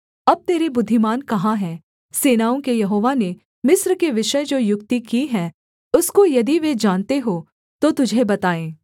अब तेरे बुद्धिमान कहाँ है सेनाओं के यहोवा ने मिस्र के विषय जो युक्ति की है उसको यदि वे जानते हों तो तुझे बताएँ